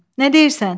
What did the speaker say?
Nə deyirsən?